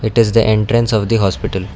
it is the entrance of the hospital.